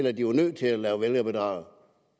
at de var nødt til at lave vælgerbedrag